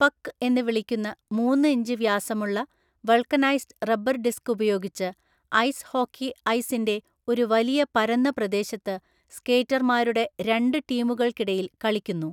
പക്ക് എന്ന് വിളിക്കുന്ന മൂന്ന് ഇഞ്ച് വ്യാസമുള്ള വൾക്കനൈസ്ഡ് റബ്ബർ ഡിസ്ക് ഉപയോഗിച്ച് ഐസ് ഹോക്കി ഐസിന്റെ ഒരു വലിയ പരന്ന പ്രദേശത്ത് സ്കേറ്റർമാരുടെ രണ്ട് ടീമുകൾക്കിടയിൽ കളിക്കുന്നു.